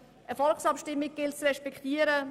Eine Volksabstimmung gilt es zu respektieren.